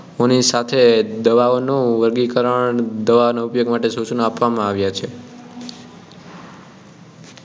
સાથે દવાઓનું વર્ગીકરણ દવાનો ઉપયોગ માટેના સૂચનો આપવામાં આવ્યાં છે